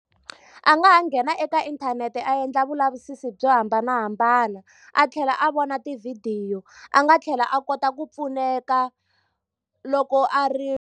A nga ha nghena eka inthanete a endla vulavisisi byo hambanahambana, a tlhela a vona tivhidiyo. A nga tlhela a kota ku pfuneka loko a ri.